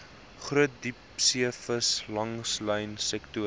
groot diepseevis langlynsektor